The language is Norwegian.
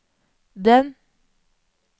den